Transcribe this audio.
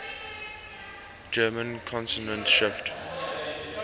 german consonant shift